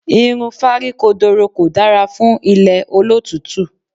Irun fáríkodoro kò dára fún ilẹ̀ olótùútù.